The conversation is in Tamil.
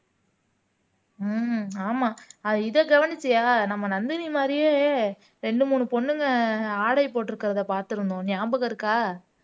ஹம் ஆமா அத இத கவனிச்சியா நம்ம நந்தினி மாரியே ரெண்டு மூணு பொண்ணுங்க ஆடை போட்டுருக்கறதை பார்த்திருந்தோம் ஞாபகம் இருக்கா